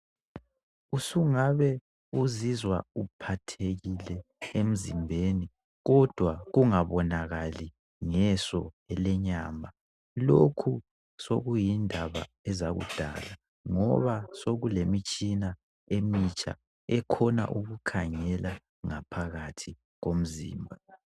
Usungabe uzizwa uphathekike emzimbeni kodwa kungabonakali ngeso lenyama lokhu sekuyindaba ezakudala ngoba sekulemitshina ekhona ukukhangela ngaphakathi komzimba